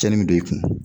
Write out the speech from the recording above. Cɛnni bɛ don i kun